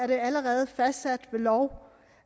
det allerede fastsat ved lov